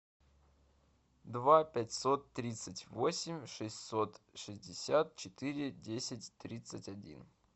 два пятьсот тридцать восемь шестьсот шестьдесят четыре десять тридцать один